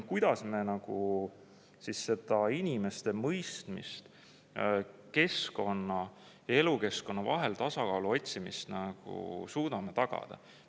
Või kuidas me siis seda inimeste mõistmist, keskkonna ja elukeskkonna vahel tasakaalu otsimist suudame tagada?